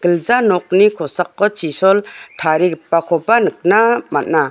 gilja nokni kosako chisol tarigipakoba nikna man·a.